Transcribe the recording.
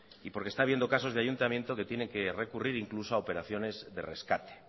y porque está habiendo casos de ayuntamiento que tiene que recurrir a operaciones de rescate